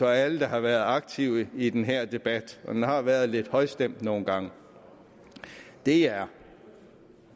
og alle der har været aktive i den her debat for den har været lidt højstemt nogle gange er